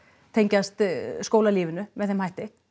tengjast skólalífinu með þeim hætti